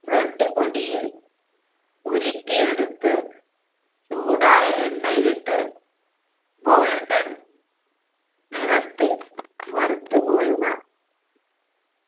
bread പൊടിയിൽ ഉരുട്ടിയെടുത്ത് ചൂടായ എണ്ണയിലിട്ട് golden നിറത്തിൽ വറുത്ത് കോരുക